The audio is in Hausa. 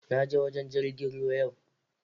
naje wajen jirgin ruwa yau